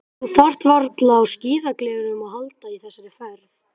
Þú þarft varla á skíðagleraugum að halda í þessari ferð.